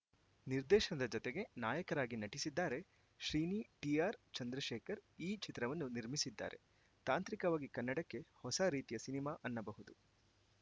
ನಿರ್ದೇಶನದ ಜತೆಗೆ ನಾಯಕರಾಗಿ ನಟಿಸಿದ್ದಾರೆ ಶ್ರೀನಿ ಟಿಆರ್‌ಚಂದ್ರಶೇಖರ್‌ ಈ ಚಿತ್ರವನ್ನು ನಿರ್ಮಿಸಿದ್ದಾರೆ ತಾಂತ್ರಿಕವಾಗಿ ಕನ್ನಡಕ್ಕೆ ಹೊಸ ರೀತಿಯ ಸಿನಿಮಾ ಅನ್ನಬಹುದು